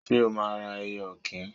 Ṣé o máa ra ẹyẹ ọ̀kín?